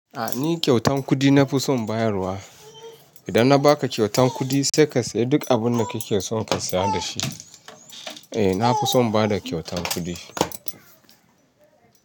A'a ni kyautan kuɗi na fi son bayarwa. Idan na baka kyautan kuɗi sai ka sayi duk abin da kake son ka saya da shi. Eh na fi son bada kyautan kuɗi.